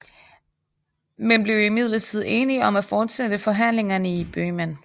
Men blev imidlertid enige om at fortsætte forhandlingerne i Bøhmen